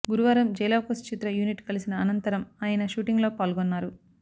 గురువారం జై లవకుశ చిత్ర యూనిట్ కలసిన అనంతరం అయన షూటింగ్ లో పాల్గొన్నారు